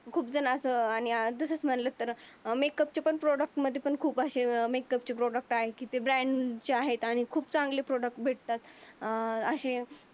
खूप जण अस तसेच म्हणलं की मेकअपचे पण प्रॉडक्ट मध्ये पण खूप असे मेकअप चे प्रॉडक्ट आहे. जे ब्रँडचे आहेत आणि खूप चांगले प्रॉडक्ट भेटतात. अं अशी